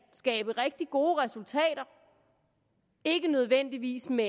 skabe rigtig gode resultater ikke nødvendigvis med